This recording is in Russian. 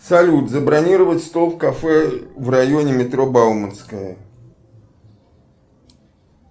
салют забронировать стол в кафе в районе метро бауманская